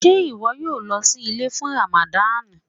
Ṣé iwọ yóò lọ sí ilẹ̀ fún Rámádān?